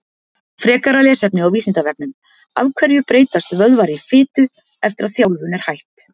Frekara lesefni á Vísindavefnum Af hverju breytast vöðvar í fitu eftir að þjálfun er hætt?